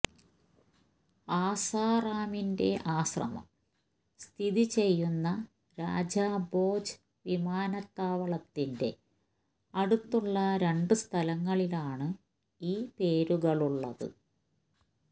ആസാറാമിന്റെ ആശ്രമം സ്ഥിതി ചെയ്യുന്ന രാജാ ഭോജ് വിമാനത്താവളത്തിന്റെ അടുത്തുള്ള രണ്ട് സ്ഥലങ്ങളിലാണ് ഈ പേരുകളുള്ളത്